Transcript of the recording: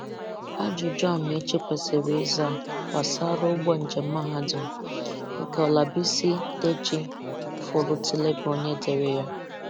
Ajụjụ Amaechi Kwesịrị ịza gbàsárá ụgbọ njem mahadum nke Olabisi Deji-Folutile bụ onye dere ya dere ya